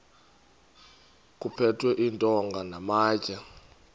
kuphethwe iintonga namatye